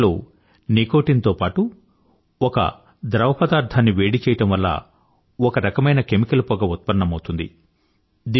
e cigarette లో nicotine తో పాటూ ఒక ద్రవపదార్ధాన్ని వేడి చేయడం వల్ల ఒక రకమైన కెమికల్ పొగ ఉత్పన్నమౌతుంది